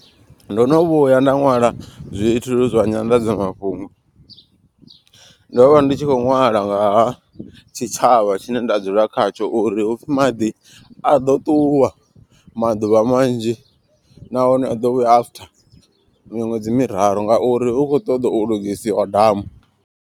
Ndo no vhuya nda ṅwala zwithu zwa nyanḓadzamafhungo. Ndo vha ndi tshi khou ṅwala ngaha tshitshavha tshine nda dzula khatsho. Uri hupfhi maḓi a ḓo ṱuwa maḓuvha manzhi. Nahone a ḓo vhuya after miṅwedzi miraru ngauri hu kho ṱoḓa u lugisiwa damu.